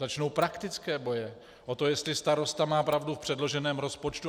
Začnou praktické boje o to, jestli starosta má pravdu v předloženém rozpočtu.